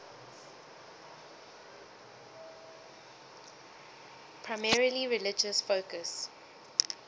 primarily religious focus